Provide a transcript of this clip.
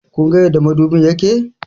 Kunga yadda madubin yake?